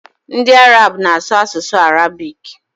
Ndi Arab na asu asusu Arabic